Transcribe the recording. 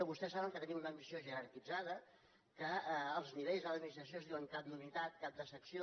vostès saben que tenim una administració jerarquitzada que els nivells de l’administració es diuen cap d’unitat cap de secció